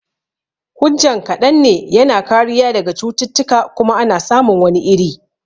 Hujjan kaɗan ne, yana kariya daga cututtuka kuma ana samun wani iri